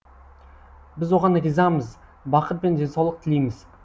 біз оған ризамыз бақыт пен денсаулық тілейміз